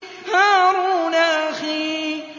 هَارُونَ أَخِي